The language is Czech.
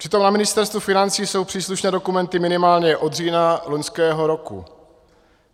Přitom na Ministerstvu financí jsou příslušné dokumenty minimálně od října loňského roku.